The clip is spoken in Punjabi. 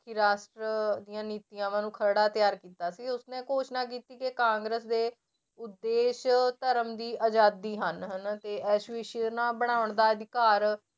ਰਾਸ਼ਟਰ ਦੀਆਂ ਨੀਤੀਆਵਾਂ ਨੂੰ ਖਰੜਾ ਤਿਆਰ ਕੀਤਾ ਸੀ ਉਸਨੇ ਘੋਸ਼ਣਾ ਕੀਤੀ ਕਿ ਕਾਂਗਰਸ ਦੇ ਉਦੇਸ਼ ਧਰਮ ਦੀ ਆਜ਼ਾਦੀ ਹਨ ਹਨਾ ਤੇ ਇਸ ਬਣਾਉਣ ਦਾ ਅਧਿਕਾਰ